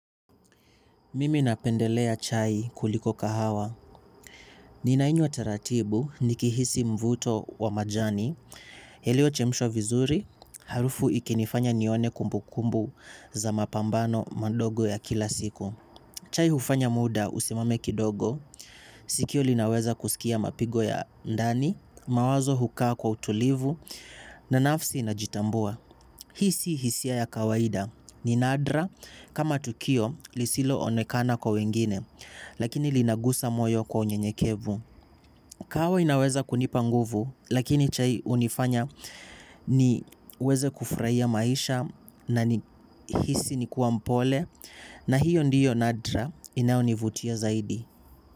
Mimi napendelea chai kuliko kahawa. Ninainywa taratibu nikihisi mvuto wa majani. Iliyochemshwa vizuri, harufu ikinifanya nione kumbukumbu za mapambano mandogo ya kila siku. Chai hufanya muda usimame kidogo, sikio linaweza kusikia mapigo ya ndani, mawazo hukaa kwa utulivu, na nafsi inajitambua. Hii si hisia ya kawaida ni nadra kama tukio lisiloonekana kwa wengine lakini linagusa moyo kwa unyenyekevu. Kahawa inaweza kunipa nguvu lakini chai hunifanya niweze kufurahia maisha na hisi nikiwa mpole na hiyo ndiyo nadra inayonivutia zaidi.